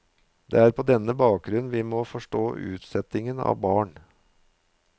Det er på denne bakgrunn vi må forstå utsettingen av barn.